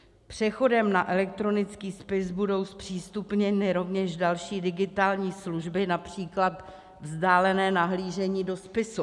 Přechodem na elektronický spis budou zpřístupněny rovněž další digitální služby, například vzdálené nahlížení do spisu.